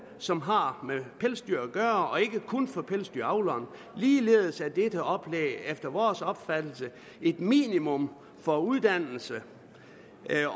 som har med pelsdyr at gøre og ikke kun for pelsdyravleren ligeledes er dette oplæg efter vores opfattelse et minimum for uddannelse